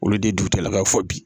Olu de ye dugutigilakaw fɔ bi